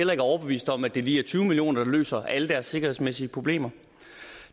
overbevist om at det lige er tyve million kr der løser alle deres sikkerhedsmæssige problemer